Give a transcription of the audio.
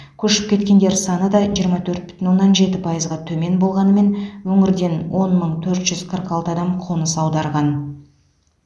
көшіп кеткендер саны да жиырма төрт бүтін оннан жеті пайызға төмен болғанымен өңірден он мың төрт жүз қырық алты адам қоныс аударған